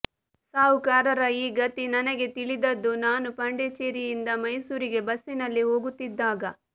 ಸಾಹುಕಾರರ ಈ ಗತಿ ನನಗೆ ತಿಳಿದದ್ದು ನಾನು ಪಾಂಡಿಚೆರಿಯಿಂದ ಮೈಸೂರಿಗೆ ಬಸ್ಸಿನಲ್ಲಿ ಹೋಗುತ್ತಿದ್ದಾಗ